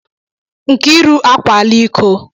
Nkiru akwaala iko.